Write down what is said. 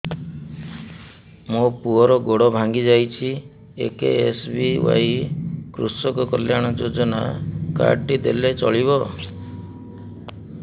ମୋ ପୁଅର ଗୋଡ଼ ଭାଙ୍ଗି ଯାଇଛି ଏ କେ.ଏସ୍.ବି.ୱାଇ କୃଷକ କଲ୍ୟାଣ ଯୋଜନା କାର୍ଡ ଟି ଦେଲେ ଚଳିବ